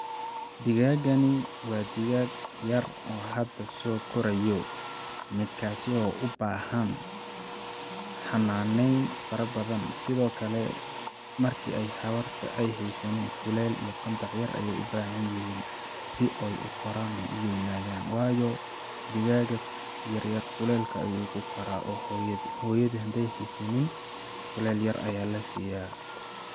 Digaagani waa digaag yar oo hada soo korayo midkaasi oo u baahan xanaaneyn fara badan sidoo kale marki ay hawarta aya haysanin kuleel iyo qandac badan ayeey u bahan yihiin si ooy u koraan ooy u weynadaan waayo digaaga yaryar kuleelka ayuu ku koraa ,oo hooyada hadii ay haysanin kuleel yar ayaa la siyaa